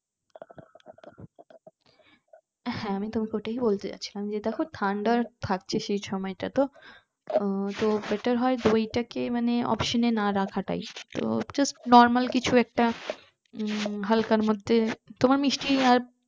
হ্যাঁ আমি তোমাকে ওটাই বলতে যাচ্ছিলাম যে দেখো ঠান্ডা থাকছে সেই সময়টাতো আহ তো better হয় দুইটাকে মনে option না রাখাটাই তো just normal কিছু একটা উম হালকার মধ্যে তোমার মিষ্টি আর